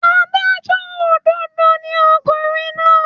Adájọ́ òdodo ni ọkùnrin náà.